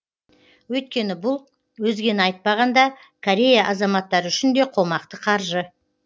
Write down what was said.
өйткені бұл өзгені айтпағанда корея азаматтары үшін де қомақты қаржы